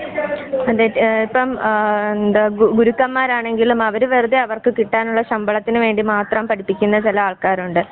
അതെന്നെ ഇപ്പം ആ ഗുറുക്കൻ മാരാണെങ്കിലും വെറുതെ അവർക്കു കിട്ടാനുള്ള ശമ്പളത്തിന് വേണ്ടി മാത്രം പഠിപ്പിക്കുന്ന ചില ആൾക്കാരുണ്ട്.